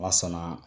Ma sɔnna